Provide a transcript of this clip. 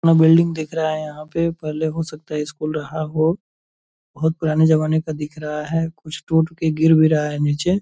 अपना बिलडिंग दिख रहा है यहाँ पे पहले हो सकता है स्कूल रहा हो बहुत पुराने जमाने का दिख रहा है कुछ टूट के गिर भी रहा है नीचे ।